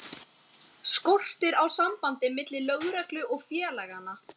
Skortir á samband milli lögreglu og félaganna?